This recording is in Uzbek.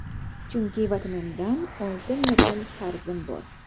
Chunki vatanimdan oltin medal qarzim bor.